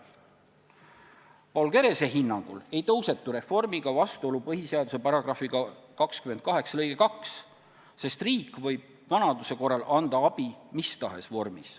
Paul Kerese hinnangul ei lähe reform vastuollu põhiseaduse § 28 lõikega 2, sest riik võib vanaduse korral anda abi mis tahes vormis.